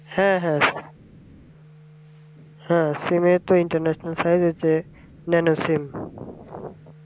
হ্যাঁ হ্যাঁ হ্যাঁ sim তো international সব আছে, মানে সিম